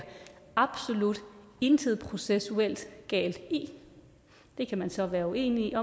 absolut intet processuelt galt i det kan man så være uenige